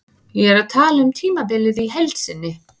Ég er að tala um tímabilið í heild sinni.